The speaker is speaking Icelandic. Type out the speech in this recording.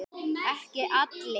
Ekki allir.